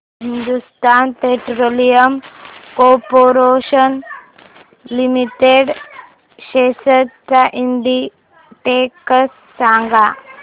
Hindustan petroleum corporation limited shares चा index सांगा